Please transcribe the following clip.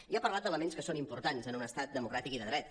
i ha parlat d’elements que són importants en un estat democràtic i de dret